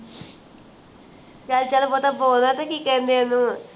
ਚੱਲ-ਚੱਲ ਹਟਾ ਬੋਲਦੇ ਨੇ ਕਿ ਕਹਿੰਦੇ ਓਹਨੂੰ